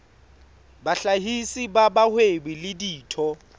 bahlahisi ba bahwebi le ditho